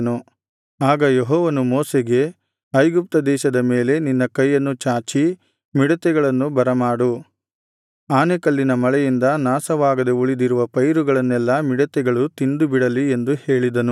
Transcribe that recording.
ಆಗ ಯೆಹೋವನು ಮೋಶೆಗೆ ಐಗುಪ್ತ ದೇಶದ ಮೇಲೆ ನಿನ್ನ ಕೈಯನ್ನು ಚಾಚಿ ಮಿಡತೆಗಳನ್ನು ಬರಮಾಡು ಆನೆಕಲ್ಲಿನ ಮಳೆಯಿಂದ ನಾಶವಾಗದೆ ಉಳಿದಿರುವ ಪೈರುಗಳನ್ನೆಲ್ಲಾ ಮಿಡತೆಗಳು ತಿಂದುಬಿಡಲಿ ಎಂದು ಹೇಳಿದನು